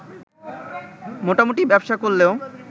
মোটামুটি ব্যবসা করলেও